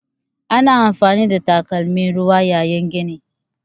Ana amfani da takalmin ruwa yayin gini.